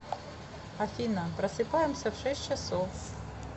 афина просыпаемся в шесть часов